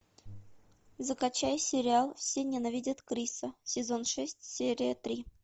закачай сериал все ненавидят криса сезон шесть серия три